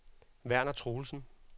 Verner Truelsen